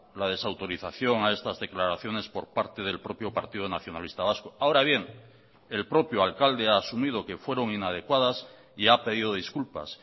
la desautorización a estas declaraciones por parte del propio partido nacionalista vasco ahora bien el propio alcalde ha asumido que fueron inadecuadas y ha pedido disculpas